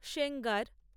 Sengar